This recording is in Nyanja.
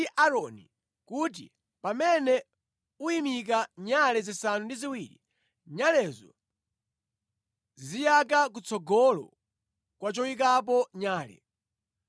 “Yankhula ndi Aaroni kuti pamene uyimika nyale zisanu ndi ziwiri, nyalezo ziziyaka kutsogolo kwa choyikapo nyale.”